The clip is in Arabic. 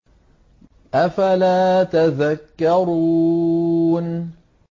أَفَلَا تَذَكَّرُونَ